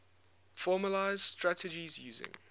formalised strategies using